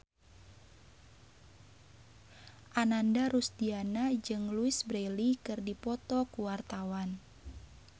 Ananda Rusdiana jeung Louise Brealey keur dipoto ku wartawan